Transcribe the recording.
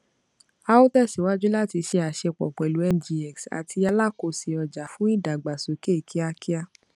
a ó tẹsíwájú láti ṣe àṣepọ pẹlú ngx àti alakòse ọjà fún ìdàgbàsókè kíákíá